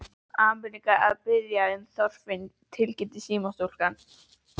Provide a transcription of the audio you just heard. Ameríka að biðja um Þorfinn tilkynnti símastúlkan.